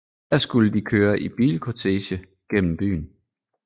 Her skulle de køre i bilkortege gennem byen